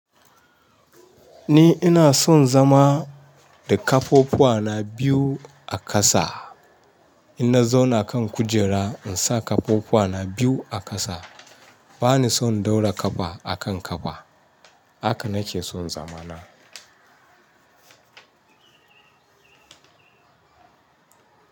Ni ina son zama da kafafuwa na biyu a ƙasa. Ina zauna kan kujera insa kafafuwa na biyu a ƙasa. Bani son ɗaura kafa a kan kafa. Haka nake son zamana.